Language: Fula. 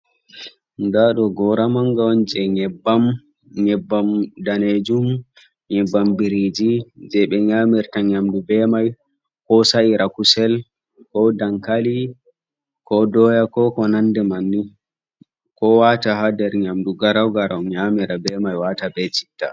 Nɗa do gora manga on je nyebban. nyebbam ɗanejun nyebbam biriji je be nyamirta nyamɗu be mai. Ko sa’ira kusel, ko ɗankali, ko ɗoya, ko konanɗe manni. Ko wata ha ɗer nyamɗu garagarau nyamira be mai wata be citta.